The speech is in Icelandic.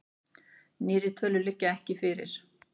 Nýrri tölur liggja ekki fyrir.